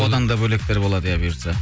одан да бөлектер болады иә бұйыртса